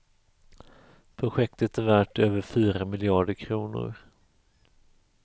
Projektet är värt över fyra miljarder kronor.